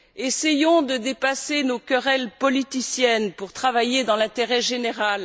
Essayons de dépasser nos querelles politiciennes, pour travailler dans l'intérêt général!